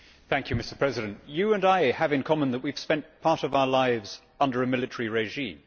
Mr President, you and I have in common that we have spent part of our lives under a military regime.